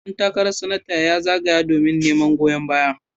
Dan takarar Sanatan ya zagaya domin neman goyon baya.